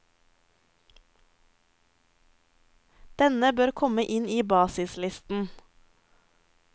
Denne bør komme inn i basislisten.